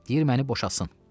Deyir məni boşatsın.